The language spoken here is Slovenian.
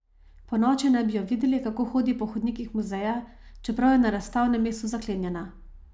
Ponoči naj bi jo videli, kako hodi po hodnikih muzeja, čeprav je na razstavnem mestu zaklenjena.